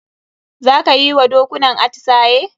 Za ka yi wa dokunan atisaye?